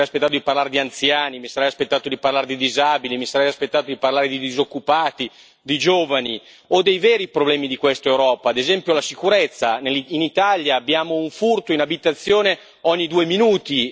Mi sarei aspettato di parlare di anziani, mi sarei aspettato di parlare di disabili, mi sarei aspettato di parlare di disoccupati, di giovani o dei veri problemi di questa Europa, ad esempio la sicurezza in Italia abbiamo un furto in abitazione ogni due minuti.